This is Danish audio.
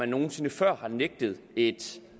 nogen sinde før har nægtet et